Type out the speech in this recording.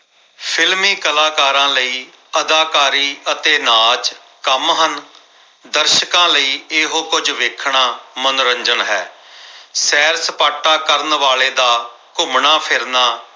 films ਕਲਾਕਾਰਾਂ ਲਈ ਅਦਾਕਾਰੀ ਅਤੇ ਨਾਚ ਕੰਮ ਹਨ। ਦਰਸ਼ਾਕਾਂ ਲਈ ਇਹੋ ਕੁਝ ਵੇਖਣਾ ਮਨੋਰੰਜਨ ਹੈ ਸੈਰ ਸਪਾਟਾ ਕਰਨ ਵਾਲੇ ਦਾ ਘੁੰਮਣਾ ਫਿਰਨਾ